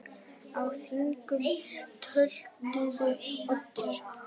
Á þinginu töluðu Oddur